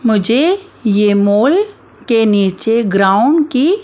मुझे ये मॉल के नीचे ग्राउंड की--